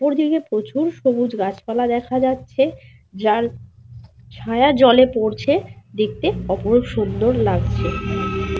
ওপর দিকে প্রচুর সবুজ গাছপালা দেখা যাচ্ছে যার ছায়া জলে পড়ছে দেখতে অপরূপ সুন্দর লাগছে।